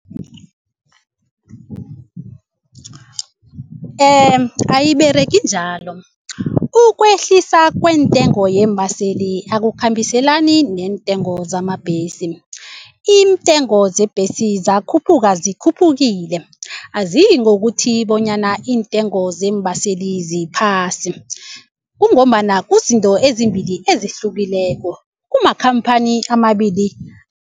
Ayiberegi njalo ukwehlisa kweentengo yeembaseli akukhambiselani neentengo zamabhesi. Iintengo zebhesi zakhuphuka zikhuphukile aziyingokuthi bonyana iintengo zeembaseli ziphasi kungombana kuzinto ezimbili ezihlukileko kumakhamphani amabili.